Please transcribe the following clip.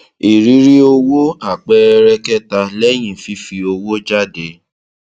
ìrírí owó àpẹẹrẹ kẹta lẹyìn fífi owó jáde